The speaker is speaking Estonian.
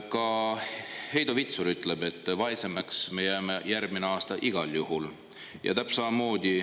" Ka Heido Vitsur ütleb, et vaesemaks me jääme järgmine aasta igal juhul.